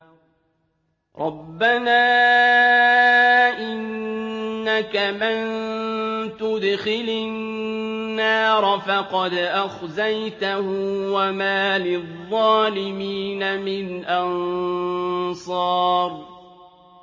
رَبَّنَا إِنَّكَ مَن تُدْخِلِ النَّارَ فَقَدْ أَخْزَيْتَهُ ۖ وَمَا لِلظَّالِمِينَ مِنْ أَنصَارٍ